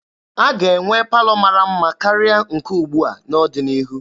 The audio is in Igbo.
A ga-enwe palọ mara mma karịa nke ugbua n'ọdịnihu.